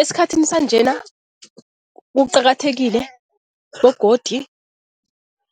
Esikhathini sanjena kuqakathekile begodi